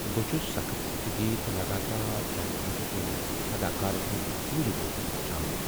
بہٕ چُھس سخت زندگی تہٕ لگاتار تنقیٖد كِنۍ اداكارن ہُند ژورِ روزُن وُچھان ۔